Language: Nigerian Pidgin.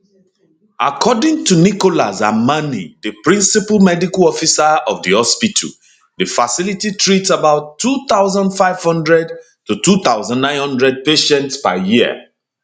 according to nicholas amani di principal medical officer of di hospital di facility treats about 2500 2900 patients per year